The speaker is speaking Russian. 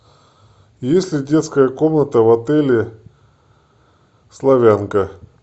есть ли детская комната в отеле славянка